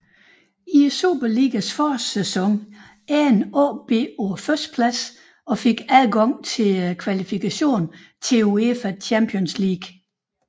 I Superligaens forårssæson endte AaB på førstepladsen og fik adgang til kvalifikationen til UEFA Champions League